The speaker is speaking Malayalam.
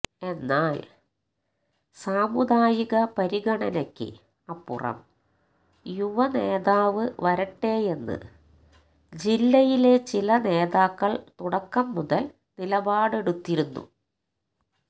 എന്നാൽ സാമുദായിക പരിഗണനയ്ക്ക് അപ്പുറം യുവനേതാവ് വരട്ടെയെന്ന് ജില്ലയിലെ ചില നേതാക്കൾ തുടക്കംമുതൽ നിലപാടെടുത്തിരുന്നു